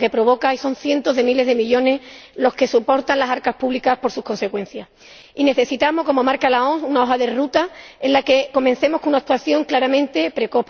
que provoca y son cientos de miles de millones de euros los que soportan las arcas públicas por sus consecuencias. Y necesitamos ―como marca la OMS― una hoja de ruta en la que comencemos con una actuación claramente precoz.